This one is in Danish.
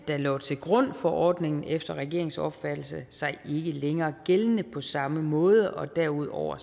der lå til grund for ordningen efter regeringens opfattelse sig ikke længere gældende på samme måde og derudover